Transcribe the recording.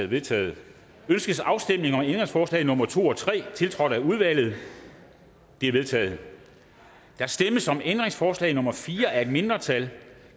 vedtaget ønskes afstemning om ændringsforslag nummer to og tre tiltrådt af udvalget de er vedtaget der stemmes om ændringsforslag nummer fire af et mindretal